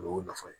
O y'o nafa ye